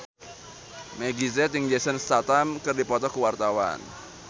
Meggie Z jeung Jason Statham keur dipoto ku wartawan